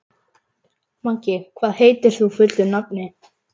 Maggi, hvað heitir þú fullu nafni?